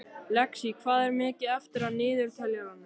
Lexí, hvað er mikið eftir af niðurteljaranum?